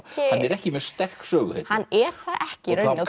ekki mjög sterk söguhetja hann er það ekki í rauninni